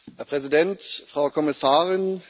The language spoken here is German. Herr Präsident, Frau Kommissarin!